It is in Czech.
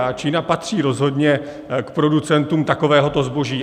A Čína patří rozhodně k producentům takového zboží.